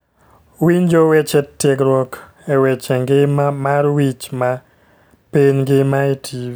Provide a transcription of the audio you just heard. Winjo weche tiegruok e weche ngima mar wich ma piny ngima e tv